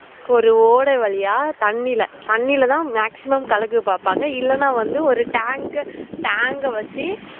ஒரு ஓடை வழியா தண்ணில தன்னில்தான் maximum கலக்க பாப்பாங்கஇல்லன வந்து ஒரு tank க்க tank அஹ் வச்சு